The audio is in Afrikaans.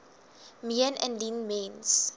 meen indien mens